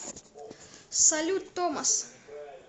салют томос